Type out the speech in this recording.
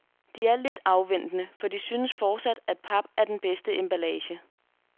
De er lidt afventende, for de synes fortsat, at pap er den bedste emballage.